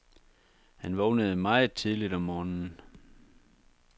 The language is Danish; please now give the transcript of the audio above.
Han vågnede meget tidligt om morgenen.